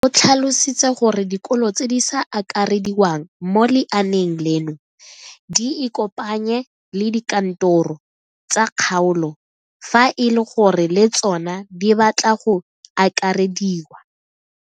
O tlhalositse gore dikolo tse di sa akarediwang mo lenaaneng leno di ikopanye le dikantoro tsa kgaolo fa e le gore le tsona di batla go akarediwa.